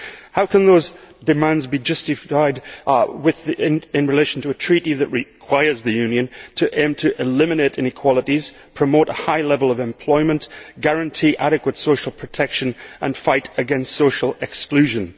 How can those demands be justified in relation to a Treaty that requires the Union to aim to eliminate inequalities, promote a high level of employment, guarantee adequate social protection and fight against social exclusion?